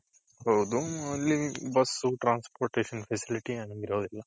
ಹೌದು ಅಲ್ಲಿ busಸು transportation facility